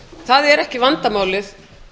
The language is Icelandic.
það er ekki vandamálið